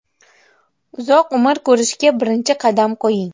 Uzoq umr ko‘rishga birinchi qadam qo‘ying!.